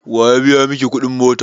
Waya biya miki kudin mota?